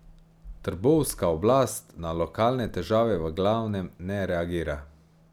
Trbovska oblast na lokalne težave v glavnem ne reagira.